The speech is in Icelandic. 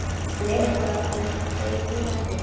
En er það eitthvað sem þeir lifa eftir?